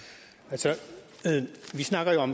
så